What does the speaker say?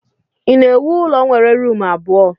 Ị na-ewu ụlọ nwere rumụ abụọ?